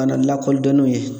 Kana lakɔldɔn n'u ye